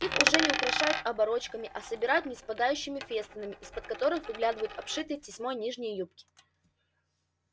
их уже не украшают оборочками а собирают ниспадающими фестонами из-под которых выглядывают обшитые тесьмой нижние юбки